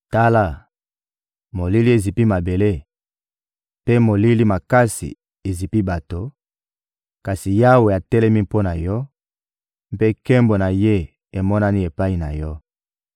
Tala, molili ezipi mabele mpe molili makasi ezipi bato, kasi Yawe atelemi mpo na yo mpe nkembo na Ye emonani epai na yo.